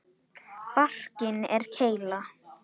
Barkinn er keila.